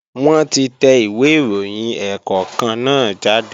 Wọ́n ti tẹ ìwé ìròyìn ẹ̀ẹ̀kọ̀kan náà jáde